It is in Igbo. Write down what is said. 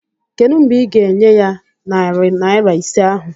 Kedụ mgbe ị ga-enye ya narị naịra ise ahụ?